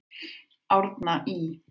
Árna Ý.